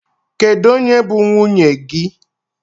Kedụ onye bụ nwunye gị?